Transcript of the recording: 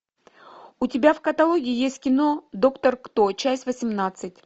у тебя в каталоге есть кино доктор кто часть восемнадцать